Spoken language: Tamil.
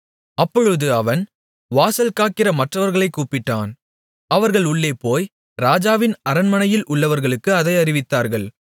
அப்பொழுது அவன் வாசல்காக்கிற மற்றவர்களைக் கூப்பிட்டான் அவர்கள் உள்ளே போய் ராஜாவின் அரண்மனையில் உள்ளவர்களுக்கு அதை அறிவித்தார்கள்